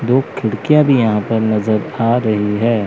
दो खिड़कियां भी यहां पर नजर आ रही है।